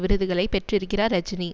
விருதுகளை பெற்றிருக்கிறார் ரஜினி